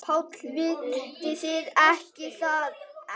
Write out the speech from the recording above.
PÁLL: Vitið þið það ekki?